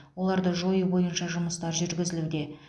оларды жою бойынша жұмыстар жүргізілуде